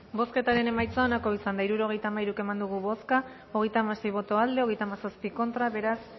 bozketaren emaitza onako izan da hirurogeita hamairu eman dugu bozka hogeita hamasei boto aldekoa treinta y siete contra beraz